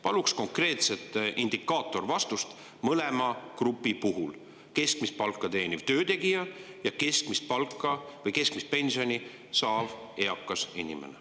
Palun konkreetset indikaatorvastust mõlema grupi puhul: keskmist palka teeniv töötegija ja keskmist pensioni saav eakas inimene.